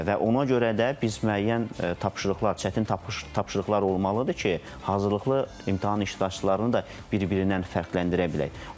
Və ona görə də biz müəyyən tapşırıqlar, çətin tapşırıqlar olmalıdır ki, hazırlıqlı imtahan iştirakçılarını da bir-birindən fərqləndirə bilək.